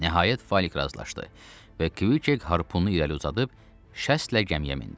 Nəhayət Falik razılaşdı və Kvik harpunu irəli uzadıb şəslə gəmiyə mindi.